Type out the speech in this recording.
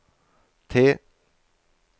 T